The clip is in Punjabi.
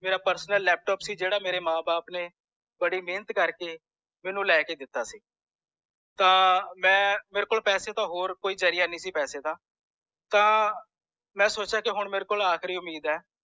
personallaptop ਸੀ ਜੇੜਾ ਮੇਰੇ ਮਾਂ ਬਾਪ ਨੇ ਬੜੀ ਮੇਹਨਤ ਕਰਕੇ ਮੈਨੂੰ ਲੈਕੇ ਦਿਤਾ ਸੀ ਤਾਂ ਮੈਂ ਮੇਰੇ ਕੋਲ ਹੋਰ ਕੋਈ ਜਰਿਆ ਨੀ ਸੀ ਪੈਸੇ ਦਾ ਤਾਂ ਮੈਂ ਸੋਚਿਆ ਮੇਰੇ ਕੋਲ ਆਖਰੀ ਉਮੀਦ ਹੈ